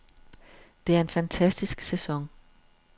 Det er en fantastisk sæson.